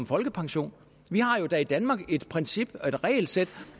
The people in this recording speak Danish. folkepension vi har jo da i danmark et princip et regelsæt